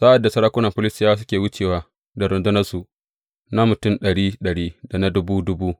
Sa’ad da sarakuna Filistiyawa suke wucewa da rundunarsu na mutum ɗari ɗari da na dubu dubu.